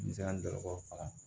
N sera dɔkɔtɔrɔw faga